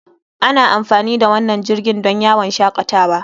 Ana amfani da wannan jirgin don yawon shakatawa.